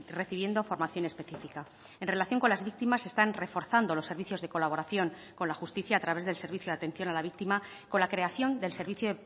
recibiendo formación específica en relación con las víctimas se están reforzando los servicios de colaboración con la justicia a través del servicio de atención a la víctima con la creación del servicio